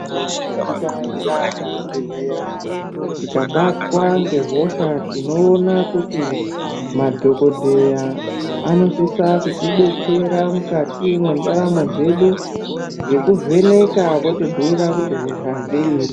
Tikaenda kuzvibhedhleya, tikabatwa ngehosha tinoona kuti ,madhokodheya anosisa kutidetsera mukati mwendaramo dzedu ,ngekuvheneka votibhuira kuti hosha ngeyei.